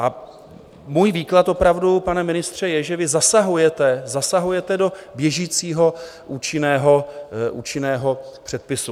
A můj výklad opravdu, pane ministře, je, že vy zasahujete do běžícího účinného předpisu.